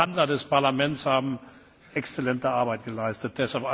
Ich glaube die Verhandler des Parlaments haben exzellente Arbeit geleistet.